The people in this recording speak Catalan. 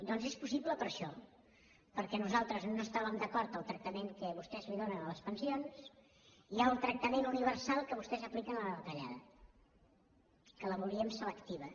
doncs és possible per això perquè nosaltres no estàvem d’acord amb el tractament que vostès donen a les pensions i amb el tractament universal que vostès apliquen a la retallada que la volíem selectiva